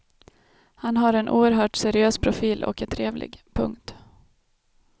Han har en oerhört seriös profil och är trevlig. punkt